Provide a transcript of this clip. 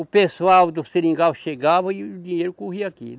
O pessoal do Seringal chegava e o dinheiro corria aqui.